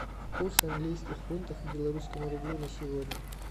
курс английских фунтов к белорусскому рублю на сегодня